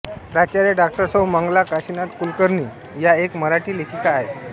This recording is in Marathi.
प्राचार्या डाॅ सौ मंगला काशिनाथ कुलकर्णी या एक मराठी लेखिका आहेत